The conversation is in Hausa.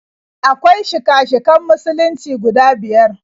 Akwai shika-shikan Musulunci guda biyar.